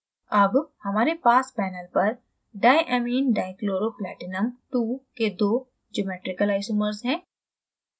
अब हमारे पास panel पर diamminedichloroplatinum ii के दो geometrical isomers हैं